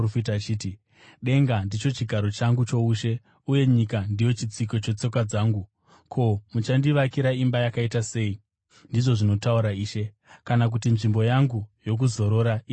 “ ‘Denga ndicho chigaro changu choushe uye nyika ndiyo chitsiko chetsoka dzangu. Ko, muchandivakira imba yakaita sei? ndizvo zvinotaura Ishe. Kana kuti nzvimbo yangu yokuzorora ichava kupiko?